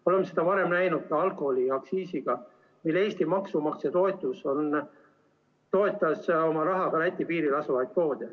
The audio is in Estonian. Oleme seda varem näinud ka alkoholiaktsiisi puhul, kui Eesti maksumaksja toetas oma rahaga Läti piiril asuvaid poode.